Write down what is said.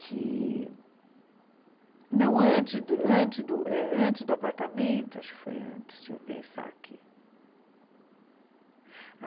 que... Não, antes do antes do antes do eh antes do apartamento, acho que foi antes, deixa eu pensar aqui.